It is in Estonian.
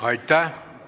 Aitäh!